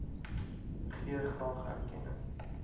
gee graag erkenning